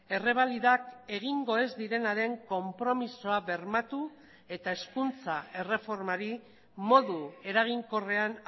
errebalidak egingo ez direnaren konpromisoa bermatu eta hezkuntza erreformari modu eraginkorrean